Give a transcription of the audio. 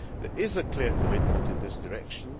There is a clear commitment in this direction.